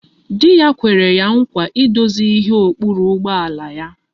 Di ya kwere ya nkwa idozi ihe okpuri ụgbọala ya